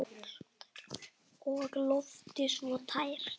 Og loftið svo tært.